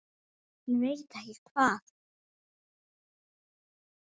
Hann veit ekki hvað